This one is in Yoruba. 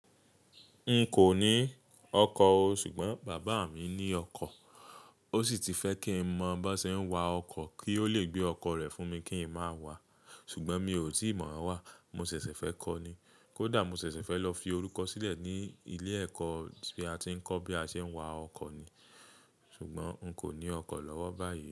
N kò ní ọkọ̀ o, ṣùgbọ́n bàbá mi ní ọkọ̀. Ó sì ti fẹ́ kí n mọ bo ṣe ń wa ọkọ̀ kí ó lè gbé ọkọ̀ rẹ̀ fún mi kí n máa wà. Ṣùgbọ́n mi ò tíì mọ̀ wá, mo ṣẹ̀ṣẹ̀ fẹ́ kọ́ ni. Kódà mo ṣẹ̀ṣẹ̀ fẹ́ lọ fi orúkọ sílẹ̀ ní ilé ẹ̀kọ́ tí a ti ń kọ́ bí a ṣe ń wa ọkọ̀ ni. Ṣùgbọ́n n kò ní ọkọ̀ lọ́wọ́ báyìí.